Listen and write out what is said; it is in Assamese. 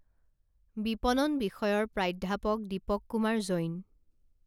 বিপণন বিষয়ৰ প্ৰাধ্যাপক দীপক কুমাৰ জৈন